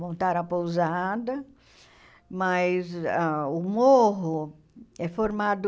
Montaram a pousada, mas ah o morro é formado